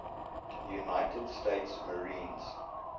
united states marines